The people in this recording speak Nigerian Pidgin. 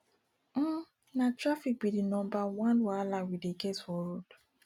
um na traffic be di number one wahala we dey get for road